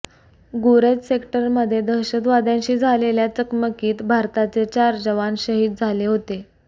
गुरेज सेक्टरमध्ये दहशतवाद्यांशी झालेल्या चकमकीत भारताचे चार जवान शहीद झाले होते